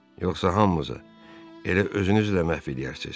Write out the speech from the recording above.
Yoxsa hamımızı elə özünüzlə məhv eləyərsiz.